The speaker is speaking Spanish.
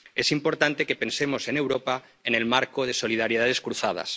Es importante que pensemos en Europa, en el marco de solidaridades cruzadas.